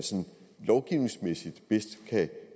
lovgivningsmæssigt bedst kan